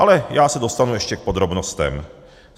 Ale já se dostanu ještě k podrobnostem.